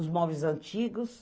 Os móveis antigos,